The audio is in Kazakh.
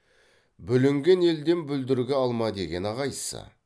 бүлінген елден бүлдіргі алма дегені қайсы